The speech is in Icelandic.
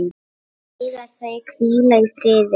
Megi þau hvíla í friði.